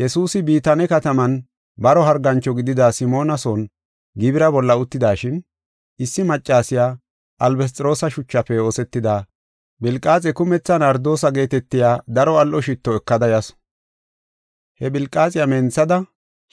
Yesuusi Bitaane kataman baro hargancho gidida Simoona son gibira bolla uttidashin, issi maccasiya albasxiroosa shuchafe oosetida philqaaxe kumetha nardoose geetetiya daro al7o shitto ekada yasu. He philqaaxe menthada